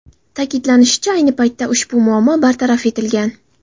Ta’kidlanishicha, ayni paytda ushbu muammo bartaraf etilgan.